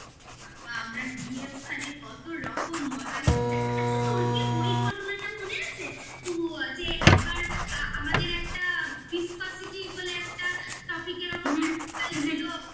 বাবা আমরা গিয়ে ওখানে কত রকম মজা হতো. আচ্ছা তোর কি ওই ঘটনাটা মনে আছে তো যে একবার আমাদের একটা viscocity বলে একটা topic এর ওপর একটাpractical ছিল?